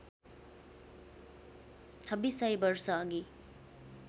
छब्बिस सय वर्षअघि